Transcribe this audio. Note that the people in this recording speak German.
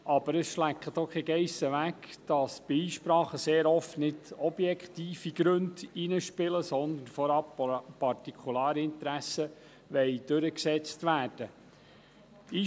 Aber es schleckt auch keine Geiss weg, dass bei Einsprachen sehr oft nicht objektive Gründe hineinspielen, sondern dass vorab Partikularinteressen durchgesetzt werden wollen.